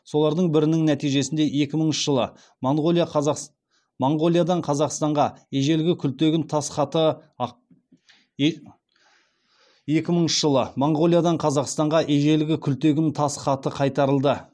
солардың бірінің нәтижесінде екі мыңыншы жылы монғолиядан қазақстанға ежелгі күлтегін тас хаты кайтарылды